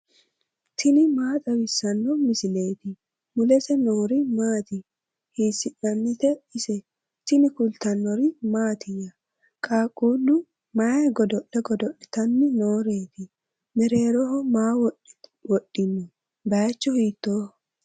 tini maa xawissanno misileeti ? mulese noori maati ? hiissinannite ise ? tini kultannori mattiya? qaaqullu may godo'le godo'littani nooreti? mereerroho maa wodhinno? bayiichchu hiittoho?